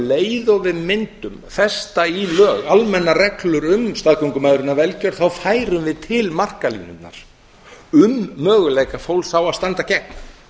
leið og við mundum festa í lög almennar heldur um staðgöngumæðrun af velgjörð færum til markalínurnar um möguleika fólks á að standa gegn